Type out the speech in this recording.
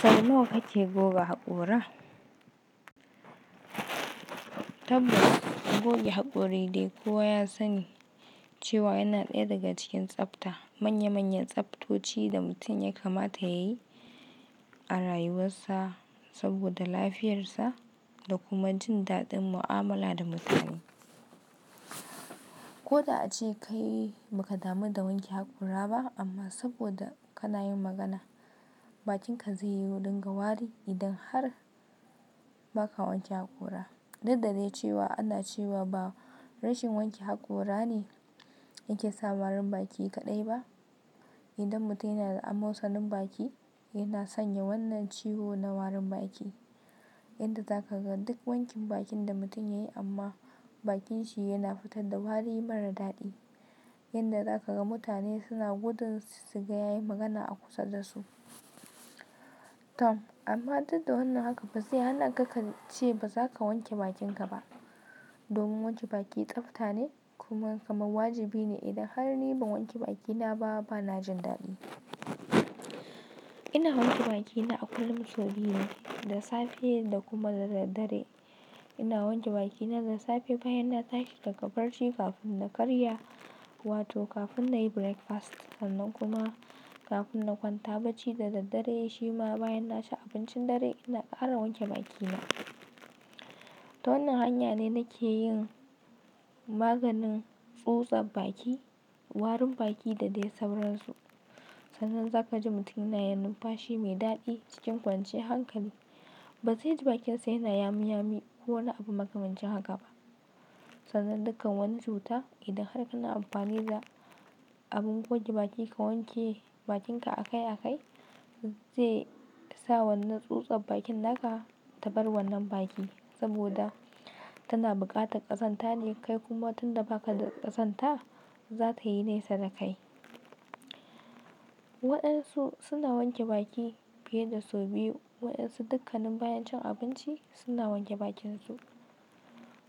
Sau nawa kake goge hakora? Tabbas goge hakori dai kuwa ya sani cewa yana ɗaya daga cikin tsafta. Manya manyan tsaftoci da mutum ya kamata yayi a rayuwarsa saboda lafiyarsa da kuma jin daɗin mu'amala da mutane. Ko da ace kai ba ka damu da wanke hakora ba amma saboda kana yin magana bakinka zai yi dinga wari idan har ba ka wanke hakora. Duk da dai cewa ana cewa ba rashin wanke hakora ne yake sa warin baki kaɗai ba. Idan mutum yana da amosanin baki yana sanya wannan ciwo na warin baki yadda za ka ga duk wankin bakin da mutum ya yi amma bakin shi yana fitar da wari mara daɗi yadda za ka ga mutane suna gudun suga ya yi magana a kusa da su. Tom amma duk da wannan haka ba zai hana ka ka ce ba za ka wanke bakinka ba. Domin wanke baki tsafta ne kuma kamar wajibi ne idan har ni ban wanke bakina ba bana jin daɗi. Ina wanke bakina a kullum sau biyu ne, da safe da kuma da daddare. Ina wanke bakina da safe bayan na tashi daga barci kafin na karya wato kafin na yi breakfast sannan kuma kafin na kwanta bacci da daddare shima bayan na ci abincin dare ina ƙara wanke bakina. Ta wannan hanya ne nake yin maganin tsutsa baki, warin baki da dai sauransu. Sannan za ka ji mutum yana yin numfashi mai daɗi cikin kwanciyar hankali. Ba zai ji bakinsa yana yami yami ko wani abu makamancin haka ba. Sannan dukkan wani cuta idan har kana amfani da abin goge baki ka wanke bakinka a kai a kai zai sa wannan tsutsar bakin naka ta bar wannan baki saboda tana buƙatar ƙazanta ne kai kuma tun da ba ka da ƙazanta za ta yi nesa da kai. Waɗansu suna wanke baki fiye da sau biyu waɗansu dukkanin bayan cin abinci suna wanke bakinsu.